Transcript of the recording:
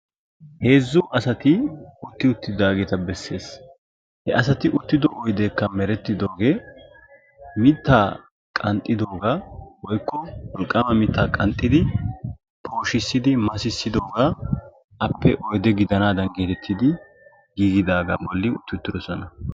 heezzu asati utti utidaageta bessees. he asati uttido oydeekka merettidoogee mittaa qanxxidoogaa woykko wolqqaama mitta qanxxidi pooshisidi massisidoogaa appe oyde gidanaadan geetettidi gigidaagan utti uttidosoona.